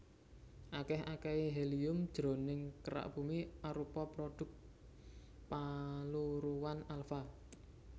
Akèh akèhé helium jroning kerak Bumi arupa prodhuk paluruhan alfa